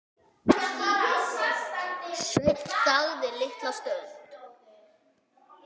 Sveinn þagði litla stund.